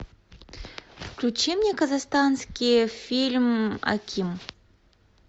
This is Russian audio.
включи мне казахстанский фильм аким